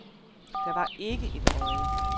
Der var ikke et øje.